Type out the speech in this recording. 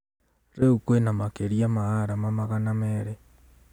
Riũ kwĩna makĩria ma arama magana merĩ